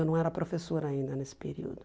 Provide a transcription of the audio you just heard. Eu não era professora ainda nesse período.